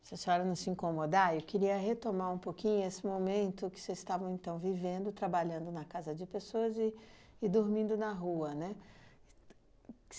Se a senhora não se incomodar, eu queria retomar um pouquinho esse momento que vocês estavam, então, vivendo, trabalhando na casa de pessoas e e dormindo na rua, né?